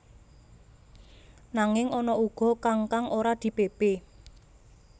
Nanging ana uga kang kang ora dipépé